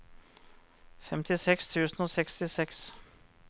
femtiseks tusen og sekstiseks